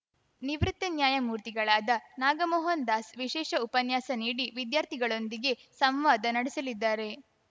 ನಿವೃತ್ತ ನ್ಯಾಯಮೂರ್ತಿಗಳಾದ ನಾಗಮೋಹನ್ ದಾಸ್‌ ವಿಶೇಷ ಉಪನ್ಯಾಸ ನೀಡಿ ವಿದ್ಯಾರ್ಥಿಗಳೊಂದಿಗೆ ಸಂವಾದ ನಡೆಸಲಿದ್ದಾರೆ